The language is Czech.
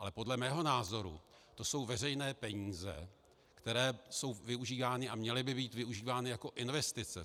Ale podle mého názoru to jsou veřejné peníze, které jsou využívány a měly by být využívány jako investice.